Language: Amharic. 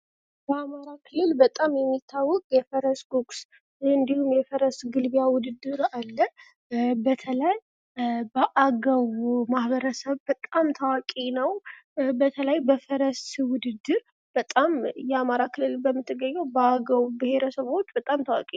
በአማራ ክልል በጣም የሚታወቅ የፈረስ ጎግስ እንዲሁም የፈረስ ግልቢያ ውድድር አለ። በተለይ በአገው ማህበረሰብ በጣም ታዋቂ ነው። በተለይ በፈረስ ውድድር በጣም የአማራ ክልል በምትገኘው በአገው ብሄረሰቦች ውስጥ በጣም ታዋቂ.